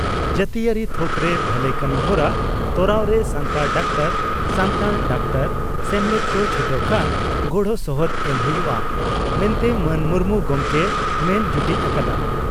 ᱡᱟᱹᱛᱤᱭᱟᱹᱨᱤ ᱛᱷᱚᱠᱨᱮ ᱵᱷᱟᱹᱞᱟᱹᱭ ᱠᱟᱹᱢᱤᱦᱚᱨᱟ ᱛᱚᱨᱟᱣᱨᱮ ᱥᱟᱱᱛᱟᱲ ᱰᱟᱠᱛᱟᱨ ᱥᱟᱱᱛᱟᱲ ᱰᱟᱠᱛᱟᱨ ᱥᱮᱢᱞᱮᱫ ᱠᱚ ᱪᱷᱩᱴᱟᱹᱣ ᱠᱷᱟᱱ ᱜᱚᱲᱥᱚᱦᱚᱫ ᱮᱢ ᱦᱩᱭᱩᱜᱼᱟ ᱢᱮᱱᱛᱮ ᱢᱟᱱ ᱢᱩᱨᱢᱩ ᱜᱚᱢᱠᱮᱭ ᱢᱮᱱ ᱡᱩᱴᱤᱡ ᱟᱠᱟᱫᱼᱟ ᱾